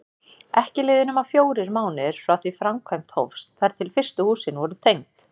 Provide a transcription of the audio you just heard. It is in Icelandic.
Ekki liðu nema fjórir mánuðir frá því framkvæmd hófst þar til fyrstu húsin voru tengd.